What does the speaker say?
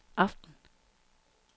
aften